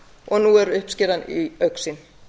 og nú er uppskeran í augsýn